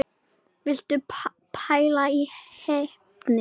Viltu pæla í heppni!